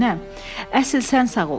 Əsl sən sağ ol.